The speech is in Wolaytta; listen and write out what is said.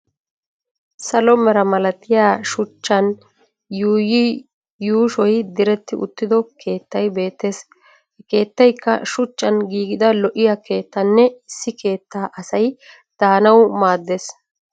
Salo mera malatiya shuchchan yuuyi yuushoy diretti uttido keettay beettes. Ha keettayikka shuchchan giigida lo'iya keettanne issi keetta asay daanawu maaddes.